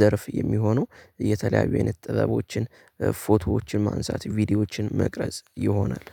ዘርፍ የሚሆነው የተለያዩ አይነት ጥበቦችን ፎቶዎችን ማንሳት ቪዲዮዎችን መቅረጽ ይሆናል።